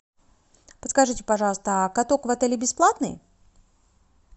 подскажите пожалуйста а каток в отеле бесплатный